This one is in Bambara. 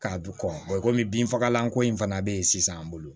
K'a bi kɔmi binfagalan ko in fana be yen sisan an bolo